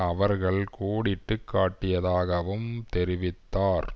அவர்கள் கோடிட்டு காட்டியதாகவும் தெரிவித்தார்